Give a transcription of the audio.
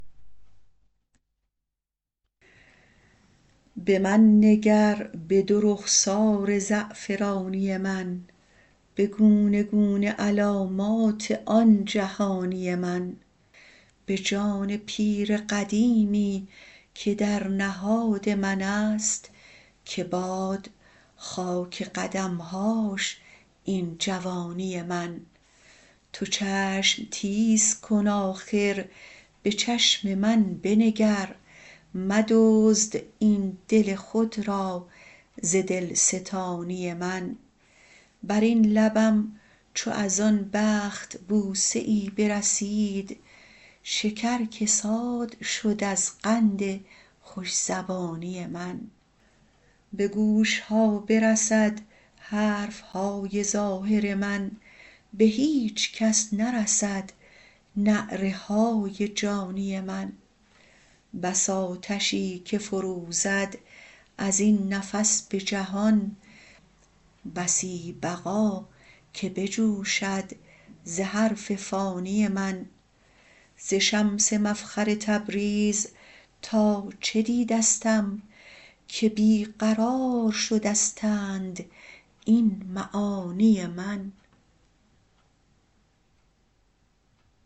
به من نگر به دو رخسار زعفرانی من به گونه گونه علامات آن جهانی من به جان پیر قدیمی که در نهاد من است که باد خاک قدم هاش این جوانی من تو چشم تیز کن آخر به چشم من بنگر مدزد این دل خود را ز دلستانی من بر این لبم چو از آن بخت بوسه ای برسید شکر کساد شد از قند خوش زبانی من به گوش ها برسد حرف های ظاهر من به هیچ کس نرسد نعره های جانی من بس آتشی که فروزد از این نفس به جهان بسی بقا که بجوشد ز حرف فانی من ز شمس مفخر تبریز تا چه دیدستم که بی قرار شدستند این معانی من